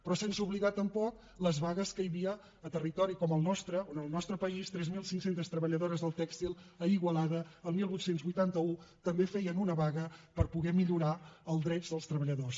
però sense oblidar tampoc les vagues que hi havia a territori com el nostre on al nostre país tres mil cinc cents treballadores del tèxtil a igualada el divuit vuitanta u també feien una vaga per poder millorar els drets dels treballadors